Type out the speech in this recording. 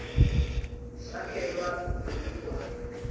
sakhelwa nemigwaco